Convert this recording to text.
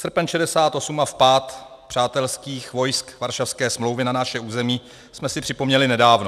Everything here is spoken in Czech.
Srpen 1968 a vpád přátelských vojsk Varšavské smlouvy na naše území jsme si připomněli nedávno.